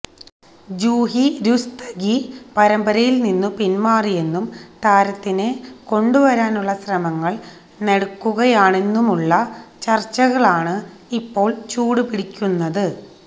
ജൂഹി രുസ്തഗി പരമ്പരയില് നിന്നു പിന്മാറിയെന്നും താരത്തിനെ കൊണ്ടുവരാനുള്ള ശ്രമങ്ങള് നടക്കുകയാണെന്നുമുള്ള ചര്ച്ചകളാണ് ഇപ്പോള് ചൂടുപിടിക്കുന്നത്